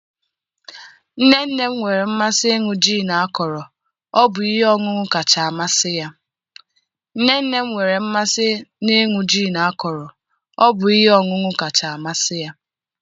nne nne m nwere mmasị n'ịṅụ gin akọrọ, ọ bụ ihe ọṅụṅụ kacha amasị ya